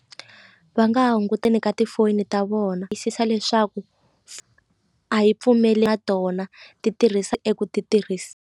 Va nga ha hunguteni ka tifoni ta vona tiyisisa leswaku a yi pfumeli na tona ti tirhisa eku ti tirhisi.